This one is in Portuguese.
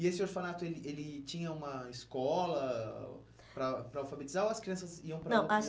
E esse orfanato, ele ele tinha uma escola para para alfabetizar ou as crianças iam para outro... Não, as